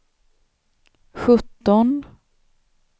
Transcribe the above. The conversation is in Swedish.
sjutton